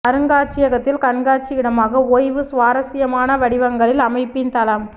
அருங்காட்சியகத்தில் கண்காட்சி இடமாக ஓய்வு சுவாரஸ்யமான வடிவங்களில் அமைப்பின் தளம்